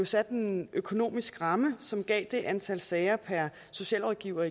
satte en økonomisk ramme som gav det gennemsnitlige antal sager per socialrådgiver